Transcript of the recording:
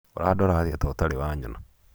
ũrandora atĩa ta ũtarĩ wanyona?